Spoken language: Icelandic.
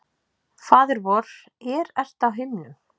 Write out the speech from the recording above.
Faðir vor, er ert á himnum.